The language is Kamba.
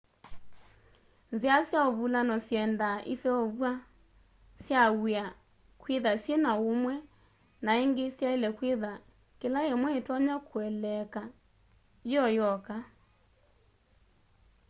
nzĩa sya ũvũlano syendaa ĩseũvya sya wĩa kwĩtha syĩna ũũmwe na ĩngĩ syaĩle kwĩtha kĩla ĩmwe ĩtonya kũeleeka yĩoyoka